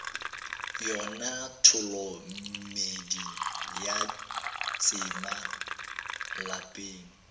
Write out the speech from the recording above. yona tholomedi ya tsema lapeng